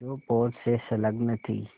जो पोत से संलग्न थी